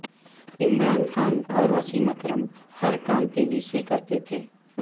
عمران خان اور وسیم اکرم ہر کام تیزی سے کرتے تھے